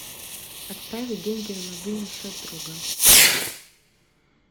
отправить деньги на мобильный счет друга